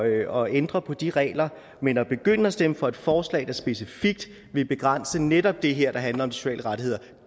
og ændre på de regler men at begynde at stemme for et forslag der specifikt vil begrænse netop det her der handler om sociale rettigheder